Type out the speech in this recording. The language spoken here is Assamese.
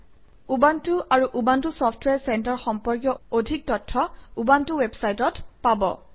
উবুণ্টু আৰু উবুণ্টু চফট্ৱেৰ চেণ্টাৰ সম্পৰ্কীয় অধিক তথ্য উবুণ্টু ৱেবচাইটত পাব